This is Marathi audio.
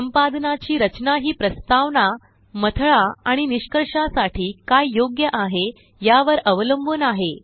संपादनाची रचना हि प्रस्तावना मथळा आणि निष्कर्षासाठी काय योग्य आहे यावर अवलंबून आहे